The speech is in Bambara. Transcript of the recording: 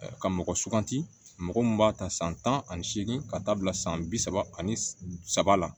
Ka mɔgɔ suganti mɔgɔ mun b'a ta san tan ani seegin ka taa bila san bi saba ani saba la